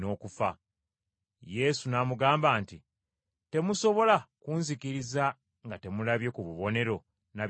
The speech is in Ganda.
Yesu n’amugamba nti, “Temusobola kunzikiriza nga temulabye ku bubonero na byamagero?”